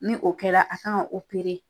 Ni o kɛra a kan